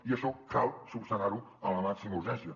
i això cal esmenar ho amb la màxima urgència